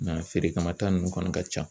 Nka feere kama ta nunnu kɔni ka ca.